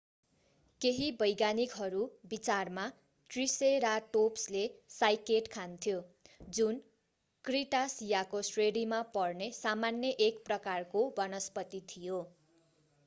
केहि वैज्ञानिकहरू विचारमा त्रिसेराटोप्सले साइकेड खान्थ्यो जुन क्रिटासियाको श्रेणीमा पर्ने सामान्य एक प्रकारको वनस्पति थियो